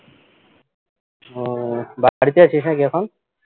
উহ বাড়িতে আছিস নাকি এখন